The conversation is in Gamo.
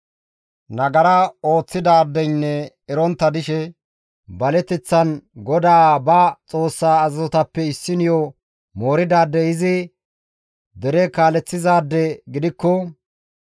«Nagara ooththidaadeynne erontta dishe baleteththan GODAA ba Xoossaa azazotappe issiniyo mooridaadey izi dere kaaleththizaade gidikko,